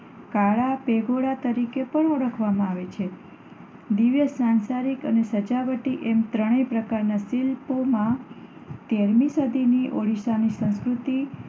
કાળા પેગોડા તરીકે પણ ઓળખવામાં આવે છે. દિવ્ય, સાંસારિક અને સજાવટી એમ ત્રણેય પ્રકારનાં શિલ્પોમાં તેરમી સદીની ઓડિશાની સંસ્કૃતિ